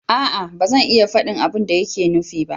A'a! ba zan iya faɗi abin da yake nufi ba